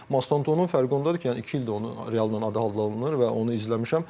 Mastantonun fərqi ondadır ki, yəni iki ildir onun adı Real hallanır və onu izləmişəm.